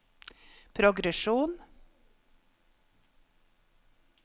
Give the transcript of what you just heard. progresjon